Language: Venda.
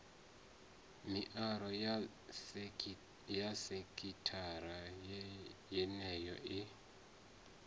mirao ya sekithara yeneyo i